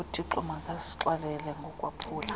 uthixo makasixolele ngokwaphula